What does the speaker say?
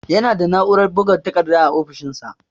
Yana da na'urar buga takarda a ofishinsa.